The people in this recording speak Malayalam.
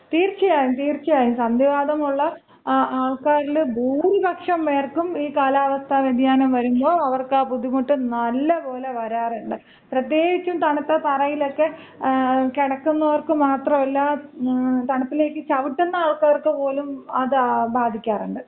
തീർച്ചയായും തീർച്ചയായും. സന്ധിവാതം ഉളള ആൾക്കാരില് ഭൂരിപക്ഷം പേർക്കും ഈ കാലാവസ്ഥ വ്യതിയാനം വരുമ്പോ അവർക്ക് ആ ബുദ്ധിമുട്ട് നല്ലപോലെ വരാറുണ്ട്. പ്രത്യേകിച്ച് തണുത്ത തറയിലൊക്കെ കിടക്കുന്നവർക്ക് മാത്രമല്ല, തണുപ്പിലേക്ക് ചവുട്ടുന്ന ആൾക്കാർക്ക് പോലും അത് ബാധിക്കാറുണ്ട്.